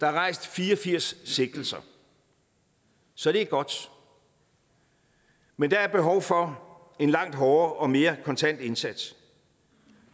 er rejst fire og firs sigtelser så det er godt men der er behov for en langt hårdere og mere kontant indsats